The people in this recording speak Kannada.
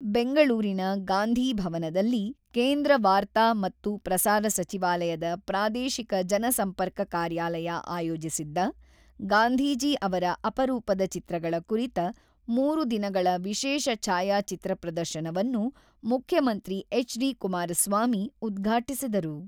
ಬೆಂಗಳೂರಿನ ಗಾಂಧಿ ಭವನದಲ್ಲಿ ಕೇಂದ್ರ ವಾರ್ತಾ ಮತ್ತು ಪ್ರಸಾರ ಸಚಿವಾಲಯದ ಪ್ರಾದೇಶಿಕ ಜನ ಸಂಪರ್ಕ ಕಾರ್ಯಾಲಯ ಆಯೋಜಿಸಿದ್ದ, ಗಾಂಧೀಜಿ ಅವರ ಅಪರೂಪದ ಚಿತ್ರಗಳ ಕುರಿತ ಮೂರು ದಿನಗಳ ವಿಶೇಷ ಛಾಯಾ ಚಿತ್ರ ಪ್ರದರ್ಶನವನ್ನು ಮುಖ್ಯಮಂತ್ರಿ ಎಚ್.ಡಿ.ಕುಮಾರಸ್ವಾಮಿ ಉದ್ಘಾಟಿಸಿದರು.